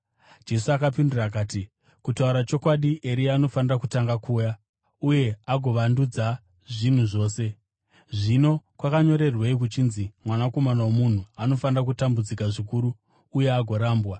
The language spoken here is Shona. Jesu akapindura akati, “Kutaura chokwadi, Eria anofanira kutanga kuuya, uye agovandudza zvinhu zvose. Zvino kwakanyorerwei kuchinzi Mwanakomana woMunhu anofanira kutambudzika zvikuru uye agorambwa?